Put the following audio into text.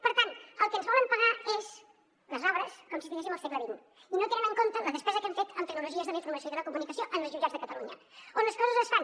per tant el que ens volen pagar són les obres com si estiguéssim al segle xx i no tenen en compte la despesa que hem fet en tecnologies de la informació i de la comunicació en els jutjats de catalunya on les coses es fan